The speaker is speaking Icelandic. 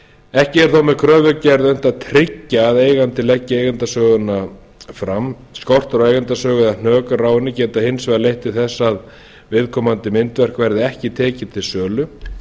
ekki er þó með kröfugerð reynt að tryggja að eigandi leggi eigendasöguna fram skortur á eigendasögu eða hnökrar á henni geta hins vegar leitt til þess að viðkomandi myndverk verði ekki tekið til sölu